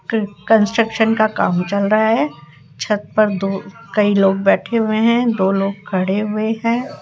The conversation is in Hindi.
कंस्ट्रक्शन का काम चल रहा है छत पर दो कई लोग बैठे हुए हैं दो लोग खड़े हुए हैं।